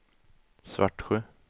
Svartsjö